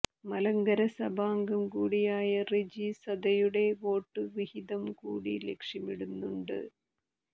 മലങ്കര സഭാംഗം കൂടിയായ റെജി സദയുടെ വോട്ടു വിഹിതംകൂടി ലക്ഷ്യമിടുന്നുണ്ട്